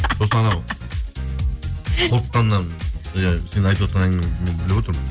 сосын анау қорыққаннан иә сен айтыватқан әңгімеңді мен біліп отырмын